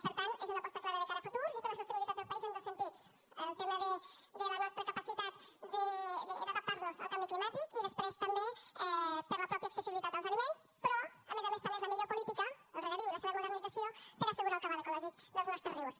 per tant és una aposta clara de cara al futur i per a la sostenibilitat del país en dos sentits el tema de la nostra capacitat d’adaptar nos al canvi climàtic i després també per a la mateixa accessibilitat als aliments però a més a més també són la millor política el regadiu i la seva modernització per assegurar el cabal ecològic dels nostres rius